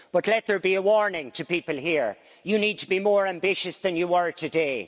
But let there be a warning to people here you need to be more ambitious than you were today.